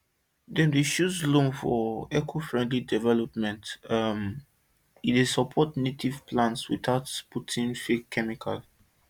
dem dey choose loam for ecofriendly development um e dey support native plants without putting fake chemicals